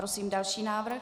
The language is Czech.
Prosím další návrh.